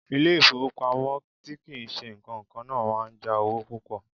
Ilé-ifowopamo tí kì í ṣe ìkankan náà máa ń já owó púpò.